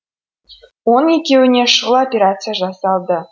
оның екеуіне шұғыл операция жасалды